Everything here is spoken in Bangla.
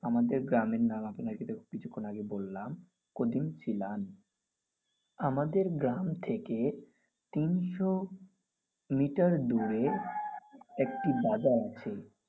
আমাদের গ্রামের নাম আপনাকে তো কিছুক্ষন আগে বলাম। কোলিংসিলান। আমাদের গ্রাম থেকে তিনশো মিটার দূরে একটি বাজার আছে.